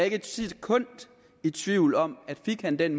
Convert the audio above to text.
ikke et sekund i tvivl om at fik han den